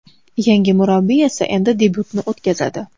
Yangi murabbiy esa endi debyutini o‘tkazadi.